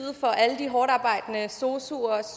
for alle de hårdtarbejdende sosuer